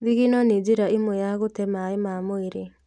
Thigino nĩ njĩra ĩmwe ya gũte maaĩ ma mwĩrĩ